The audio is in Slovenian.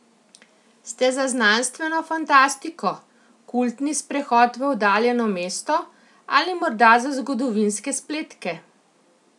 Ste za znanstveno fantastiko, kultni sprehod v oddaljeno mesto ali morda za zgodovinske spletke?